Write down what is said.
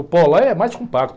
O pó lá é mais compacto.